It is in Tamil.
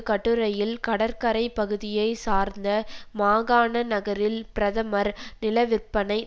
கட்டுரையில் கடற்கரைக் பகுதியைச்சார்ந்த மாகாண நகரில் பிரதமர் நிலவிற்பனை